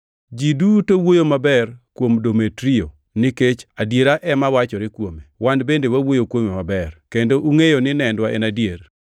Ji duto wuoyo maber kuom Demetrio, nikech adiera ema wachore kuome. Wan bende wawuoyo kuome maber, kendo ungʼeyoni nendwa en adier.